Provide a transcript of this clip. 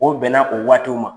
O bɛn na o waati ma.